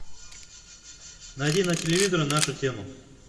найди на телевизоре нашу тему